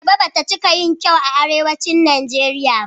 Ayaba bata cika yin kyau a Arewacin Najeriya ba.